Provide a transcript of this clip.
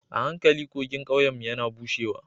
A hankali kogin ƙauyenmu yana bushewa